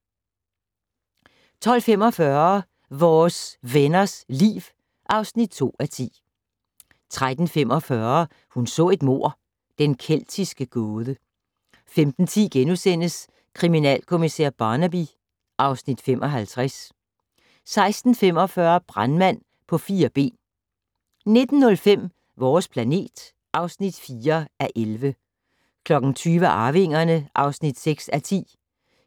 12:45: Vores Venners Liv (2:10) 13:45: Hun så et mord: Den keltiske gåde 15:10: Kriminalkommissær Barnaby (Afs. 55)* 16:45: Brandmand på fire ben 19:05: Vores planet (4:11) 20:00: Arvingerne (6:10)